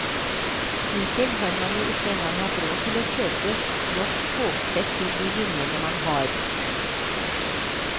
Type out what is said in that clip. Hittil har man jo ikke engang hatt råd til å kjøpe nok togsett til de linjene man har.